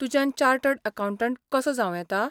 तुज्यान chartered accountant कसो जांव येता ?